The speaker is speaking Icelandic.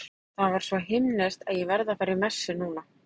Það var svo himneskt að ég verð að fara í messu núna.